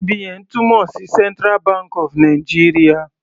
CBN túmọ̀ sí central bank of Nigeria.